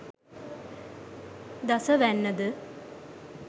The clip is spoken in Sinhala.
දස වැන්න ද,